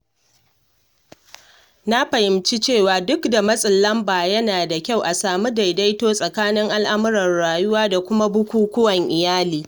Na fahimci cewa duk da matsin lamba, yana da kyau a samu daidaito tsakanin al'amuran rayuwa da kuma bukukuwan iyali.